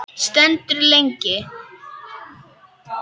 Stendur lengi.